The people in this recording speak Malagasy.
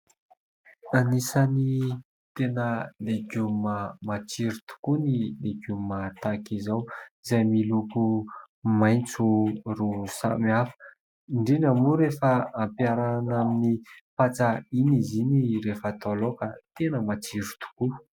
Anisan'ny tena legioma matsiro tokoa ny legioma tahaka izao izay miloko maitso roa samy hafa. Indrindra moa rehefa ampiarahana amin'ny patsa iny izy iny rehefa atao laoka tena matsiro tokoa.